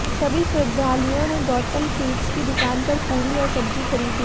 सभी श्रद्धालुओं ने गौतम स्वीट्स की दुकान पर पूड़ी और सब्जी खरीदी